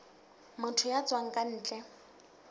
motho ya tswang ka ntle